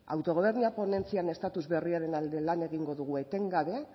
autogobernua ponentzian estatus berriaren alde lan egingo dugu etengabe